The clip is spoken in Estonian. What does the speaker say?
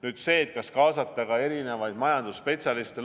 Nüüd sellest, kas kaasata ka erinevaid majandusspetsialiste.